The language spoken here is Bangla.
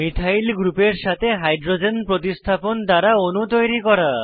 মিথাইল গ্রুপের সাথে হাইড্রোজেন প্রতিস্থাপন দ্বারা অণু তৈরি করা